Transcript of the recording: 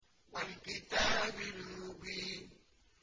وَالْكِتَابِ الْمُبِينِ